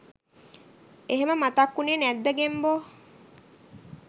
එහෙම මතක් උනේ නැද්ද ගෙම්බෝ.